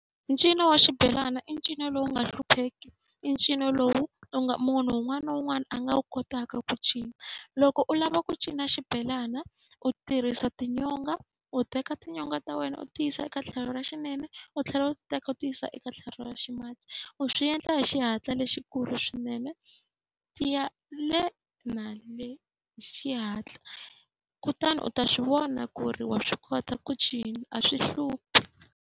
Ncino wa xibelana i ncino lowu nga hlupheki, i ncino lowu u nga munhu un'wana na un'wana a nga wu kotaka ku cina. Loko u lava ku cina xibelana, u tirhisa tinyonga. U teka tinyonga ta wena u ti yisa eka tlhelo ra xinene u tlhela u ti teka u ti yisa eka tlhelo ra ximatsi. U swi endla hi xihatla lexikulu swinene, ti ya le na le hi xihatla. Kutani u ta swi vona ku ri wa swi kota ku cina, a swi hluphi.